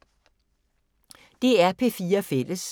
DR P4 Fælles